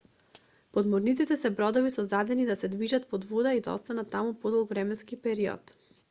подморниците се бродови создадени да се движат под вода и да остануваат таму подолг временски период